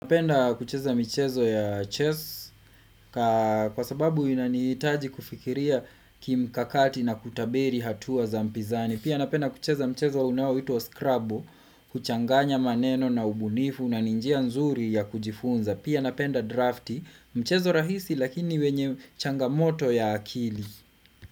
Napenda kucheza michezo ya chess kwa sababu inanihitaji kufikiria kimkakati na kutabiri hatua za mpizani. Pia napenda kucheza mchezo unaoitwa scrubbo kuchanganya maneno na ubunifu na ni njia nzuri ya kujifunza. Pia napenda drafti mchezo rahisi lakini wenye changamoto ya akili.